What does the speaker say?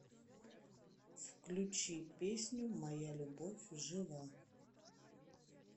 включи песню моя любовь жива